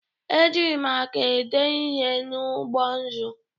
E ji maka ede ihe n'ụgbọ nzụ